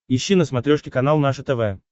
ищи на смотрешке канал наше тв